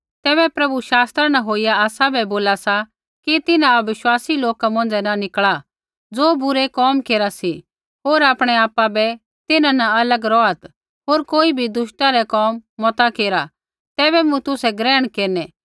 तैबै प्रभु शास्त्रा न होइया आसाबै बोला सा कि तिन्हां अविश्वासी लोका मौंझ़ै न निकल़ा ज़ो बुरै कोम केरा सी होर आपणै आपा बै तिन्हां न अलग रौहात् होर कोई बी दुष्टता रै कोम मता केरा तैबै मूँ तुसै ग्रहण केरनै